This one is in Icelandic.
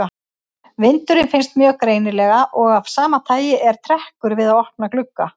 Vindurinn finnst mjög greinilega og af sama tagi er trekkur við opna glugga.